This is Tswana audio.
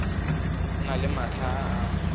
na le matlha a a